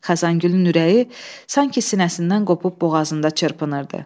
Xəzəngülün ürəyi sanki sinəsindən qopub boğazında çırpınırdı.